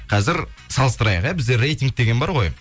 қазір салыстырайық ия бізде рейтинг деген бар ғой